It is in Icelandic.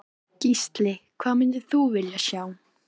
Gísli: Hvað myndir þú vilja sjá?